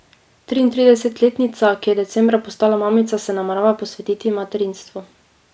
Triintridesetletnica, ki je decembra postala mamica, se namerava posvetiti materinstvu.